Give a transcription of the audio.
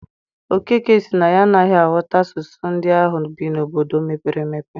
Okeke sị na ya anaghị aghọta asụsụ ndị ahụ bi n'obodo mepere emepe.